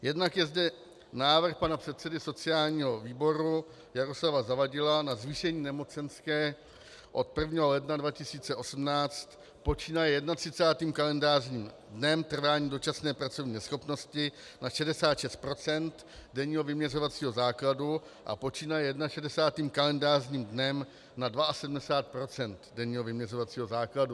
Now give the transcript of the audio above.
Jednak je zde návrh pana předsedy sociálního výboru Jaroslava Zavadila na zvýšení nemocenské od 1. ledna 2018 počínaje 31. kalendářním dnem trvání dočasné pracovní neschopnosti na 66 % denního vyměřovacího základu a počínaje 61. kalendářním dnem na 72 % denního vyměřovacího základu.